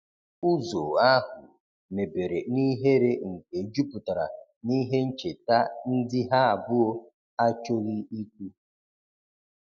Ụzo ahu mebere n'ihere nke juputara n'ihe ncheta ndi ha abuo achoghi ikwu